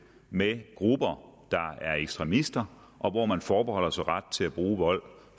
med grupper der er ekstremister og forbeholder sig ret til at bruge vold